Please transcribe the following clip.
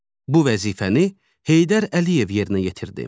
Bu vəzifəni Heydər Əliyev yerinə yetirdi.